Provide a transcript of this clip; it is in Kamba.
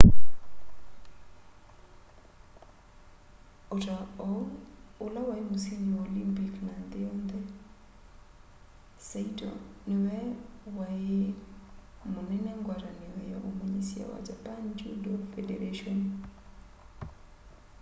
ota oũ ũla waĩ mũsĩndĩ wa olympik na nthĩ yonthe saĩto nĩwe waĩ mũnene ngwatanĩo ya ũmanyĩsya wa japan judo fedaratĩon